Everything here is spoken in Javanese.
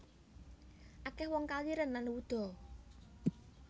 Akeh wong kaliren lan wuda